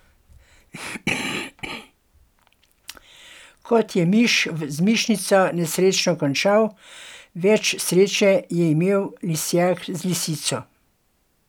Kot je miš z mišico nesrečno končal, več sreče je imel lisjak z lisico.